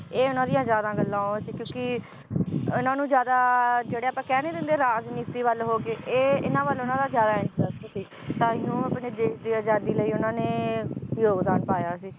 ਇਹ ਉਹਨਾਂ ਦੀਆਂ ਜ਼ਿਆਦਾ ਗੱਲਾਂ ਉਹ ਸੀ ਕਿਉਂਕਿ ਇਹਨਾਂ ਨੂੰ ਜ਼ਿਆਦਾ ਜਿਹੜੇ ਆਪਾਂ ਕਹਿ ਨੀ ਦਿੰਦੇ ਰਾਜਨੀਤੀ ਵੱਲ ਹੋ ਕੇ, ਇਹ ਇਹਨਾਂ ਵੱਲ ਉਹਨਾਂ ਦਾ ਜ਼ਿਆਦਾ interest ਸੀ ਤਾਂ ਹੀ ਉਹ ਆਪਣੇ ਦੇਸ਼ ਦੀ ਅਜਾਦੀ ਲਈ ਉਹਨਾਂ ਨੇ ਯੋਗਦਾਨ ਪਾਇਆ ਸੀ